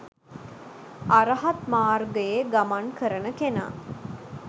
අරහත් මාර්ගයේ ගමන් කරන කෙනා